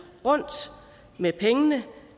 rundt med pengene